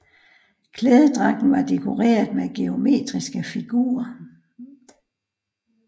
Klædedragten var dekoreret med geometriske figurer